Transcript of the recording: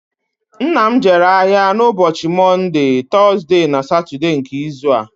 Nna m jere ahìa n'ụbọchi Mọnde, Tọzde na Satọde nke izu a